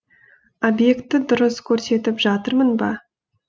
обьекті дұрыс көрсетіп жатырмын ба